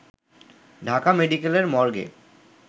ঢাকা মেডিকেলের মর্গে